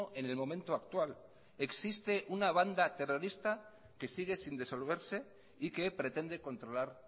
en el momento actual existe una banda terrorista que sigue sin disolverse y que pretende controlar